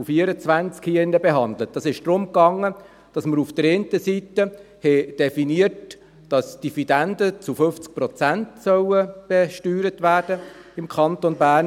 dieses StG. Es ging darum, dass man auf der einen Seite definiert hat, dass die Dividenden im Kanton Bern zu 50 Prozent besteuert werden sollen.